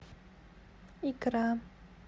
икра